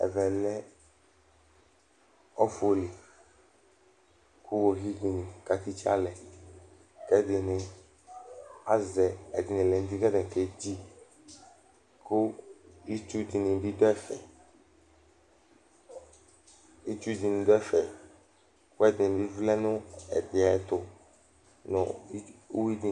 ɛmɛ lɛ ɔfʊ li, kʊ iwoviu dɩnɩ kʊ akatitse alɛ, ɛnɩnɩ azɛ ɛdɩnɩ lɛ n'uti kʊ atanɩ ka tsɩ alɛ alʊkʊ, kʊ itsu dɩnɩ bɩ dʊ ɛfɛ, kʊ ɛdɩ lɛ nʊ ɛdɩ ayʊ ɛtʊ nʊ uwi dɩnɩ li